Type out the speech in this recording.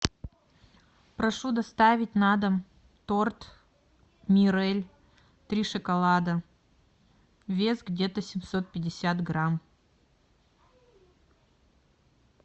прошу доставить на дом торт мирель три шоколада вес где то семьсот пятьдесят грамм